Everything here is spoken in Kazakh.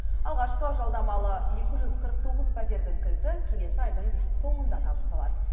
алғашқы жалдамалы екі жүз қырық тоғыз пәтердің кілті келесі айдың соңында табысталады